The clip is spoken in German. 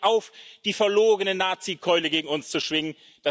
Hören Sie damit auf, die verlogene Nazikeule gegen uns zu schwingen!